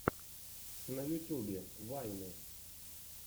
на ютюбе вайны